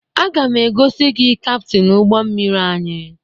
Aga m egosi gị kaptịn ụgbọ mmiri anyị